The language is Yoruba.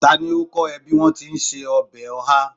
Ta ni ó kọ́ ẹ bí wọn tí ń se ọbẹ̀ oha?